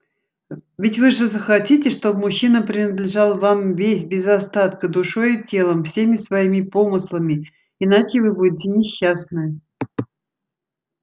ведь вы же захотите чтобы мужчина принадлежал вам весь без остатка душой и телом всеми своими помыслами иначе вы будете несчастны